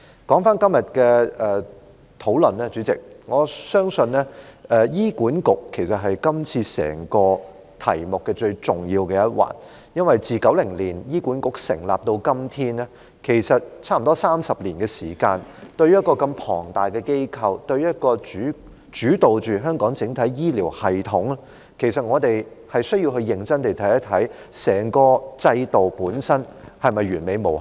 主席，關於今天的討論，我相信醫院管理局是今次整個題目最重要的一環，因為醫管局自1990年成立至今，差不多已有30年的時間，對於這麼龐大的機構，一個主導香港整體醫療系統的機構，其實我們需要認真審視整個制度本身是否完美無瑕？